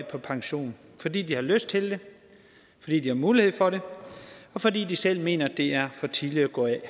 på pension fordi de har lyst til det fordi de har mulighed for det og fordi de selv mener det er for tidligt at gå af og